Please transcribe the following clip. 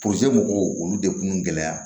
mɔgɔw olu de kun gɛlɛya